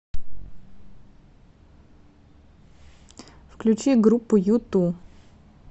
включи группу юту